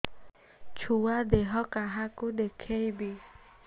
ଛୁଆ ଦେହ କାହାକୁ ଦେଖେଇବି